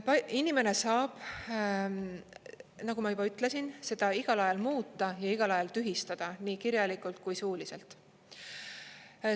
Inimene saab, nagu ma juba ütlesin, seda igal ajal muuta ja igal ajal tühistada, nii kirjalikult kui suuliselt.